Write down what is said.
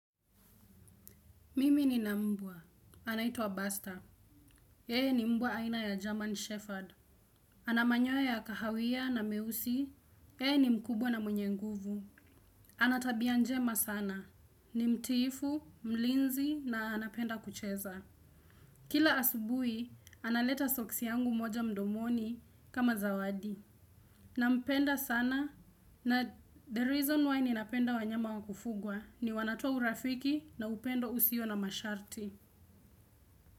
Mimi nina mbwa. Anaitwa Buster. Yeye ni mbwa aina ya German Shepherd. Ana manyoya ya kahawia na meusi. Yeye ni mkubwa na mwenye nguvu. Ana tabia njema sana. Ni mtiifu, mlinzi na anapenda kucheza. Kila asubuhi, analeta soksi yangu moja mdomoni kama zawadi. Nampenda sana na the reason why ninapenda wanyama wa kufugwa ni wanatoa urafiki na upendo usio na masharti.